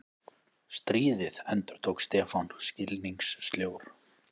Stríðið? endurtók Stefán skilningssljór.